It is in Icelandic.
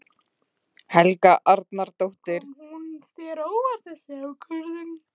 Helga Arnardóttir: Kom hún þér á óvart þessi ákvörðun?